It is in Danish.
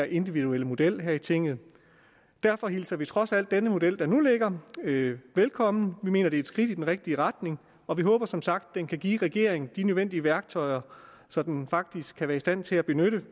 individuelle model her i tinget derfor hilser vi trods alt den model der nu ligger velkommen vi mener det er et skridt i den rigtige retning og vi håber som sagt den kan give regeringen de nødvendige værktøjer som den faktisk kan være i stand til at benytte